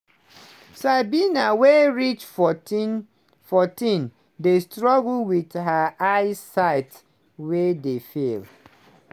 sabina wey reach 14 14 dey struggle wit her eyesight wey dey fail.